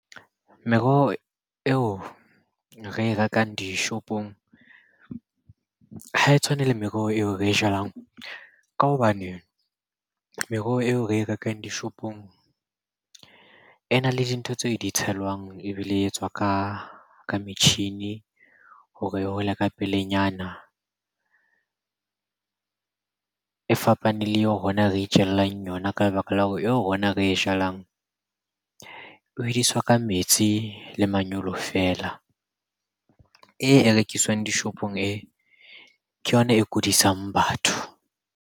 Meroho eo re e rekang dishopong ha e tshwane le meroho eo re e jalang. Ka hobane meroho eo re e rekang dishopong e na le dintho tseo di tshelwang, ebile e etswa ka metjhini hore e hole ka pelenyana. E fapaneng le eo rona re itjallang yona ka lebaka la hore eo rona re e jalang e hodiswa ka metsi le manyolo feela. E, e rekiswang dishopong e, ke yona e kudisang batho.